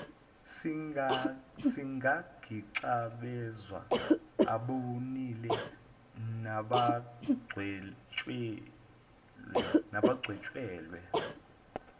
singagixabezwa abonile nabagwetshelwe